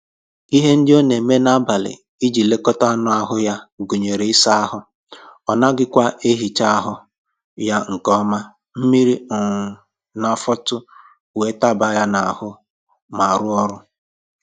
Ihe ndị ọ na-eme n'ablị iji lekọta anụ ahụ ya gụnyere ịsa ahụ, ọ naghịkwa ehicha ahụ ya nke ọma mmiri um na-afọtụ wee taba ya n'ahụ ma rụọ ọrụ